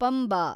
Panba